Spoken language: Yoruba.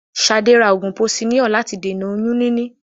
Ṣadé ra oògùn posiníọ̀ láti dènà oyún níní.